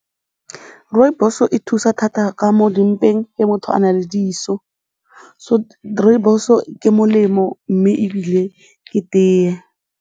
Rooibos-o e thusa thata ka mo dimpeng ge motho a na le diso rooibos-o ke molemo mme ebile ke tee.